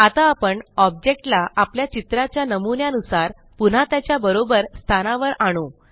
आता आपण ऑब्जेक्ट ला आपल्या चित्रा च्या नमुन्या नुसार पुन्हा त्याच्या बरोबर स्थानावर आणू